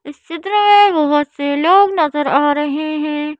इस चित्र में बहुत से लोग नजर आ रहे हैं।